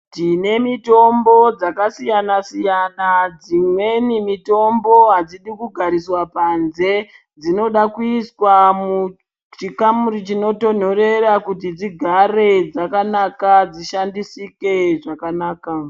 Tine mitombo dzakasiyana siyana dzimweni mitombo hadzidi kugariswa panze dzinoda kuiswa muchikamuri chinotonhorera kuti dzigare dzakanaka dzishandisike zvakanaka.